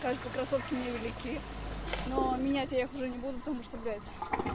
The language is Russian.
кажется кроссовки мне велики но менять я их уже не буду потому что блядь